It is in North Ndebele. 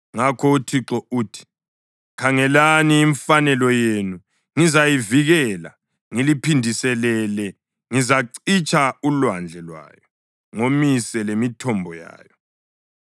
Ngakho uThixo uthi: “Khangelani, imfanelo yenu ngizayivikela, ngiliphindiselele; ngizacitsha ulwandle lwayo ngomise lemithombo yayo.